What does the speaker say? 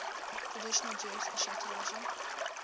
traditional jewish eschatology